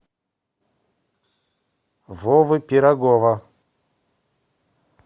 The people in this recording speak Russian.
вовы пирогова